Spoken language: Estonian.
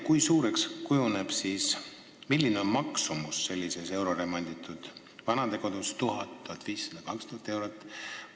Kui suureks kujuneb hind, milline on maksumus sellises euroremonditud vanadekodus – kas 1000, 1500 või 2000 eurot?